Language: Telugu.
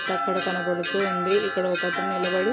అక్కడ కనబడుతూ ఉంది. ఇక్కడ ఒకతను నిలబడి --